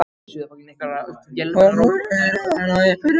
Hún horfir á hann og ypptir öxlum.